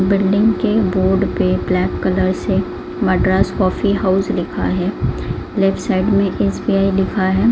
Building के board पे black colour से मड्रास कॉफी हाउस लिखा है लेफ्ट साइड में एस_बी_आई लिखा है।